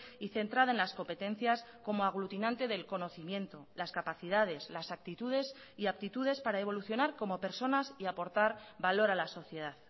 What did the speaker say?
y centrada en las competencias como aglutinante del conocimiento las capacidades las actitudes y aptitudes para evolucionar como personas y aportar valor a la sociedad